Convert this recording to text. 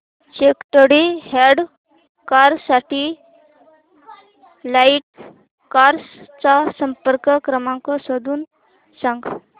second hand car साठी right cars चा संपर्क क्रमांक शोधून सांग